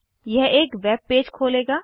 यह एक web page खोलेगा